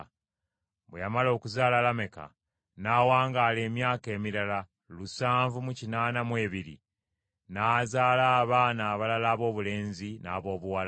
Bwe yamala okuzaala Lameka n’awangaala emyaka emirala lusanvu mu kinaana mu ebiri, n’azaala abaana abalala aboobulenzi n’aboobuwala.